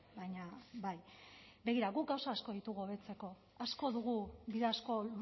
baina bai begira guk gauza asko ditugu hobetzeko asko dugu bide asko